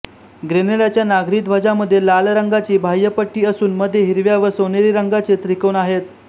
ग्रेनेडाच्या नागरी ध्वजामध्ये लाल रंगाची बाह्य पट्टी असून मध्ये हिरव्या व सोनेरी रंगाचे त्रिकोण आहेत